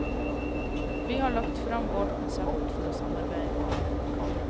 Vi har lagt frem vårt konsept for å samarbeide.